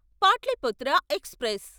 Pataliputra express